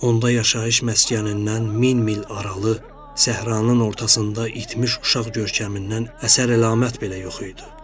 Onda yaşayış məskənindən min mil aralı səhranın ortasında itmiş uşaq görkəmindən əsər-əlamət belə yox idi.